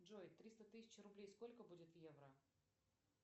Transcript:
джой триста тысяч рублей сколько будет в евро